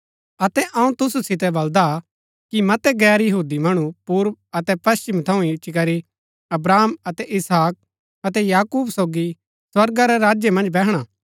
अतै अऊँ तुसु सितै बलदा कि मतै गैर यहूदी मणु पूर्व अतै पश्‍चिम थऊँ इच्ची करी अब्राहम अतै इसहाक अतै याकूब सोगी स्वर्गा रै राज्य मन्ज बैहणा